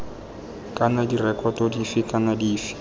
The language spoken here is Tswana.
kana direkoto dife kana dife